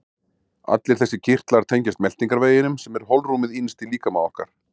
Allir þessir kirtlar tengjast meltingarveginum sem er holrúmið innst í líkama okkar.